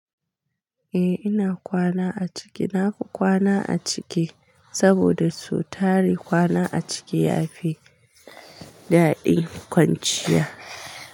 Eh ina kwana a ciki. Nafi kwana a ciki saboda sau tari kwana a ciki yafi daɗi kwanciya.